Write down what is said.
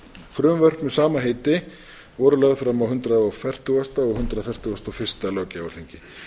frumvörp með sama heiti voru lögð fram á hundrað og fertugasta og hundrað fertugasta og fyrsta löggjafarþingi